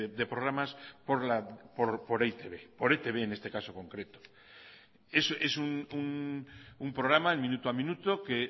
de programas por e i te be por etb en este caso concreto es un programa el minuto a minuto que